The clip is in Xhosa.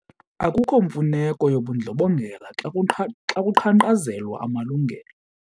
Akukho mfuneko yobundlobongela xa kuqhankqalazelwa amalungelo.